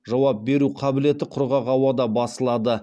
жауап беру қабілеті құрғақ ауада басылады